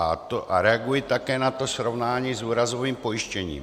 A reaguji také na to srovnání s úrazovým pojištěním.